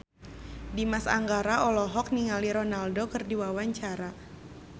Dimas Anggara olohok ningali Ronaldo keur diwawancara